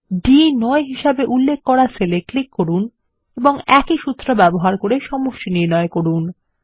D9 হিসেবে উল্লেখ করা সেল এ ক্লিক করুন এবং একই সূত্র ব্যবহার করে সমষ্টি নির্ণয় করুন